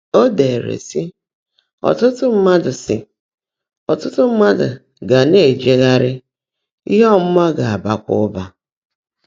Ó deèrè, sị́: “Ọ́tụ́tụ́ mmádụ́ sị́: “Ọ́tụ́tụ́ mmádụ́ gá ná-èjeghárị́, íhe ọ́mụ́má gá-ábákwá ụ́bà.”